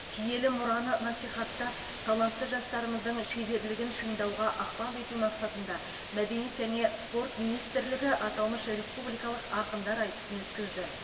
киелі мұраны насихаттап талантты жастарымыздың шеберлігін шыңдауға ықпал ету мақсатында мәдениет және спорт министрлігі аталмыш республикалық ақындар айтысын өткізді